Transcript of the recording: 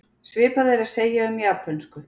Svipað er að segja um japönsku.